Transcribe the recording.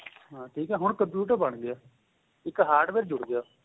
ਠੀਕ ਏ ਹੁਣ computer ਬਣਗਿਆ ਇੱਕ hardware ਜੁੜ ਗਿਆ